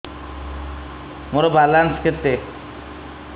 ମୋର ବାଲାନ୍ସ କେତେ